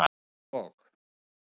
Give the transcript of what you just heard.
Það var og?